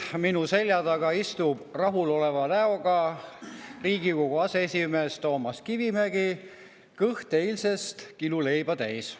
Minu selja taga istub rahuloleva näoga Riigikogu aseesimees Toomas Kivimägi, kõht eilsest kiluleiba täis.